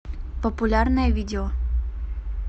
популярное видео